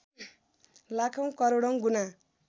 लाखौँ करोडौँ गुणा